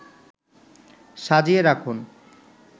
সাজিয়ে রাখুন